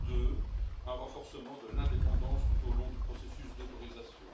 Deux, un renforcement de l'indépendance tout au long du processus d'autorisation.